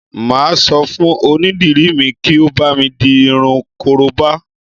Mà á sọ fún onídìrí mi kí ó bámi di irun korobá